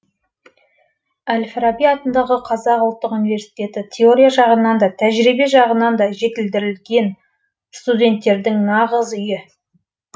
әл фараби атындағы қазақ ұлттық университеті теория жағынан да тәжірибе жағынан жетілдірілген студенттердің нағыз үйі